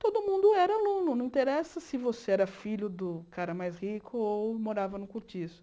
Todo mundo era aluno, não interessa se você era filho do cara mais rico ou morava no cortiço.